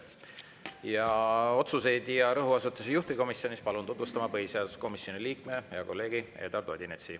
Ja otsuseid ja rõhuasetusi juhtivkomisjonis palun tutvustama põhiseaduskomisjoni liikme, hea kolleegi Eduard Odinetsi.